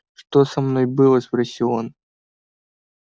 что со мной было спросил он